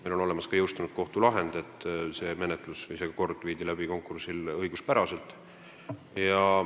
Meil on olemas ka kohtulahend, mis tõendab, et konkurss korraldati õiguspäraselt.